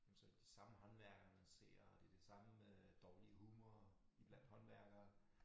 Hvor men så det de samme håndværkere man ser og det den samme øh dårlige humor blandt håndværkere